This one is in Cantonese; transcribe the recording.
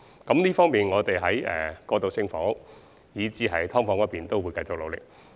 我們在處理過渡性房屋以至"劏房"問題方面，必定會繼續努力。